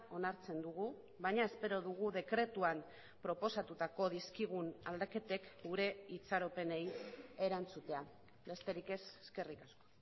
onartzen dugu baina espero dugu dekretuan proposatutako dizkigun aldaketek gure itxaropenei erantzutea besterik ez eskerrik asko